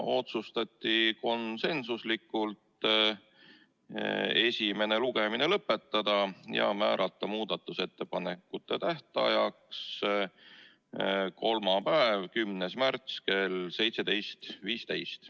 Otsustati esimene lugemine lõpetada ja määrata muudatusettepanekute tähtajaks kolmapäev, 10. märts kell 17.15.